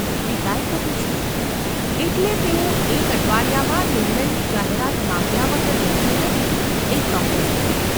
પિતાએ કહ્યું છે ? એટલે તેઓ એક અઠવાડિયામાં નિર્ણયની જાહેરાત માગ્યા વગર રહેશે નહિ એ ચોક્કસ હતું.